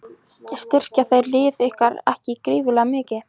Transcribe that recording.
Styrkja þeir lið ykkar ekki gífurlega mikið?